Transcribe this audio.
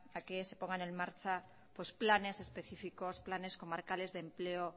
a que se pongan en marcha planes específicos planes comarcales de empleo